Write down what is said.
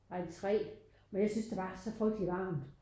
Ej 3 men jeg synes der var så frygteligt varmt